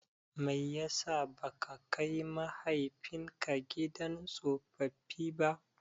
Mai yasa baka kai mahaifinka gidan tsofaffi ba?